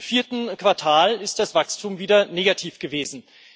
Im vierten Quartal ist das Wachstum wieder negativ gewesen.